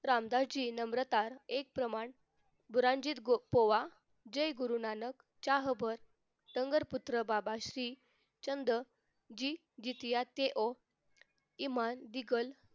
रामदासाची नम्रता एक प्रमाण गुरांजीत पोवा जय गुरुनानक चाहपर नगरपुत्र बाबाश्री जी जीसियाचे ओह इमान दिकल